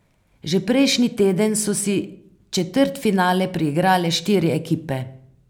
Že prejšnji teden so si četrtfinale priigrale štiri ekipe.